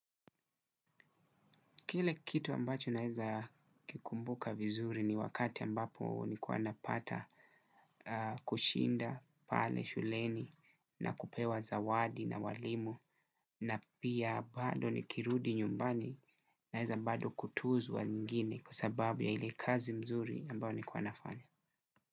Kile kitu ambacho naweza kikumbuka vizuri ni wakati ambapo nilikuwa napata kushinda pale shuleni na kupewa zawadi na walimu na pia bado nikirudi nyumbani naweza bado kutuzwa nyingine kwa sababu ya ile kazi mzuri ambayo nilikuwa nafanya.